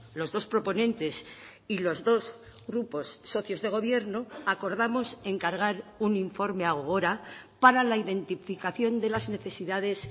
los dos proponentes y los dos grupos socios de gobierno acordamos encargar un informe a gogora para la identificación de las necesidades